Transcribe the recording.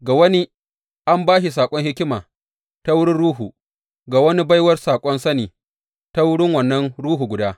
Ga wani, an ba shi saƙon hikima ta wurin Ruhu, ga wani baiwar saƙon sani ta wurin wannan Ruhu guda.